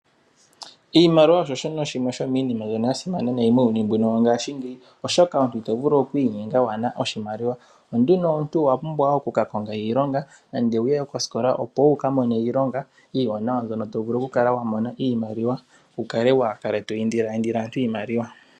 Iimaliwa osho shono shimwe sho miinima mbyono ya simana nayi muuyuni mbuno wongaashingeyi oshoka omuntu ito vulu okwiinyenga kuuna oshimaliwa onkene omuntu owu na okukakonga iilonga nenge wu ye kosikola opo wu kamone iilonga iiwanawa mbyono to vulu okukala wa mona iimaliwa wu kale waa kale to indila yindila aantu iimaliwa.